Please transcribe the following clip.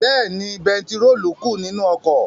Bẹ́ẹ̀ni, bẹntiróòlù kù nínú ọkọ̀.